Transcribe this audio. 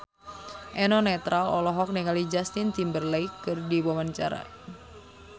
Eno Netral olohok ningali Justin Timberlake keur diwawancara